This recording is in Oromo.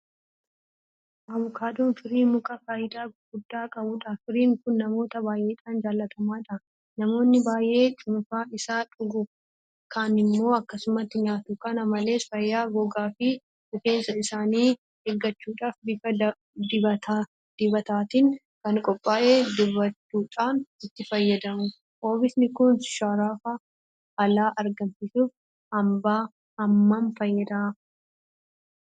Abukaadoon firii mukaa faayidaa guddaa qabudha. Firiin kun namoota baay'eedhaan jaalatamaadha. Namoonni baay'een cuunfaa isaa dhugu. Kaanimmoo akkasumatti nyaatu. Kana malees fayyaa gogaafi Rifeensa isaanii eeggachuudhaaf bifa dibataatiin kan qophaa'e dibachuudhaan itti fayyadamu. Oomishni kun sharafa alaa argamsiisuuf hammam fayyada?